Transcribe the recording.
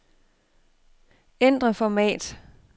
Ændr format.